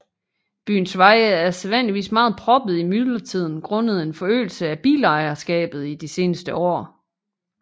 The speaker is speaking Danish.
Byens veje er sædvanligvis meget proppede i myldretiden grundet en forøgelse af bilejerskabet i de seneste år